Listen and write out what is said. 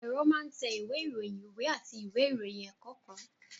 Ẹ̀rọ máa ń tẹ ìwé ìròyìn, ìwé àti ìwé ìròyìn ẹ̀kọ́ kan